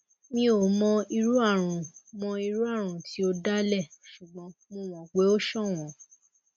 mi ò mọ irú àrùn mọ irú àrùn tí ó dá lé ṣùgbọn mo mọ pé o ṣọwọn